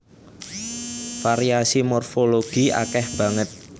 Variasi morfologi akèh banget